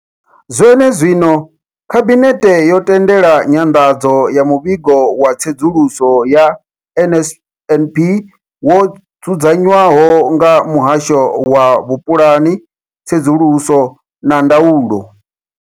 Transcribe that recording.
Zwene zwino, Khabinethe yo tendela nyanḓadzo ya Muvhigo wa Tsedzuluso ya NSNP wo dzudzanywaho nga Muhasho wa Vhupulani, Tsedzuluso na Ndaulo.